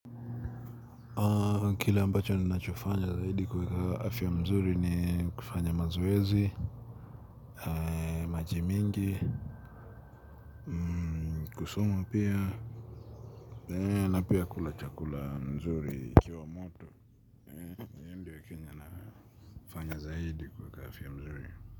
Kile ambacho ninachofanya hili kuweka afya mzuri ni kufanya mazoezi, maji mingi, kusoma pia na pia kula chakula nzuri ikiwa moto, ndio kenye nafanya zaidi kuweka afya mzuri.